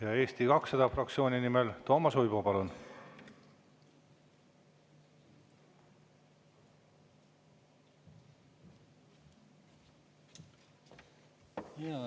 Ja Eesti 200 fraktsiooni nimel Toomas Uibo, palun!